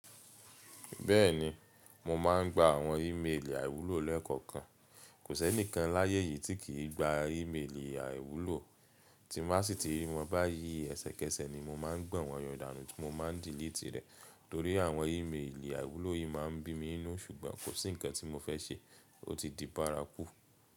Bẹ́ẹ̀ni, mo máa ń gba àwọn ímeèlì àìwúlò lẹ́ẹ̀kọ̀kan. Kò sí ẹnìkan láyé yìí tí kì í gba ímeèlì àìwúlò. Tí mo bá sì ti rí wọn báyìí, ẹsẹkẹsẹ ni mo máa ń gbọn wọn yọ danu, ti mo ma ń dílíìtì rẹ̀. Torí àwọn ímeèlì àìwúlò yìí máa ń bí mi inú, ṣùgbọ́n kò sí ǹkan tí mo fẹ́ ṣe, ó ti di bárakú.